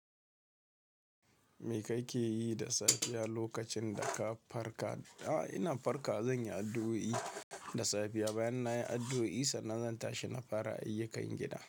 Me ka ke yi da safiya lokacin da ka farka? A'a, ina farka, zan yi addu'o'i da safiya bayan na yi addu'o'i, sannan zan tashi na fara ayyukan gida.